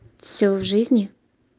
всё в жизни